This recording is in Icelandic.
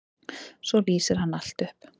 Svo lýsir hann allt upp.